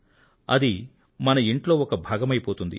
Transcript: అది మన ఇంట్లో ఒక భాగమైపోతుంది